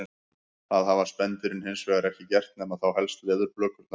Það hafa spendýrin hins vegar ekki gert nema þá helst leðurblökurnar.